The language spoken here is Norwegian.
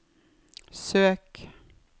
søk